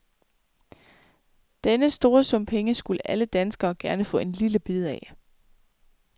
Denne store sum penge skulle alle danskere gerne få en lille bid af.